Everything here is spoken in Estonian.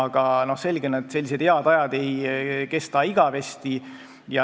Aga selge, et sellised head ajad ei kesta igavesti.